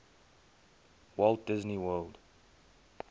walt disney world